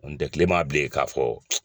N tɛ tile m'a bilen k'a fɔ